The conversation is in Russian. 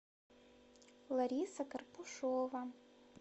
лариса карпушова